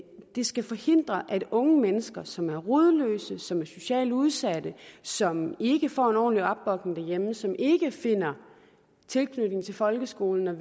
det skal forhindre at unge mennesker som er rodløse som er socialt udsatte som ikke får en ordentlig opbakning derhjemme som ikke finder tilknytning til folkeskolen og